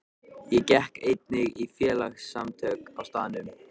Ég gekk einnig í félagasamtök á staðnum.